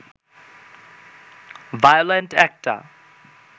violent একটা